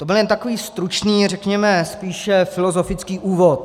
To byl jen takový stručný, řekněme spíš filozofický úvod.